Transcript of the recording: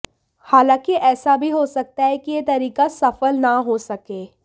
हालांकि ऐसा भी हो सकता है कि यह तरीका सफल न हो सके